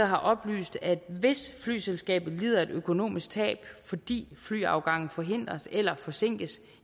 har oplyst at hvis flyselskabet lider et økonomisk tab fordi flyafgangen forhindres eller forsinkes